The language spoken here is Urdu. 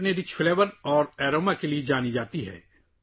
یہ اپنے بھرپور ذائقے اور خوشبو کے لیے جانی جاتی ہے